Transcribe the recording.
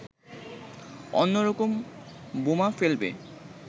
অন্য রকম বোমা ফেলবে